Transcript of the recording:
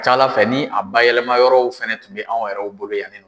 ca Ala fɛ ni a bayɛlɛma yɔrɔw fɛnɛ tun bɛ anw yɛrɛw bolo yan ne.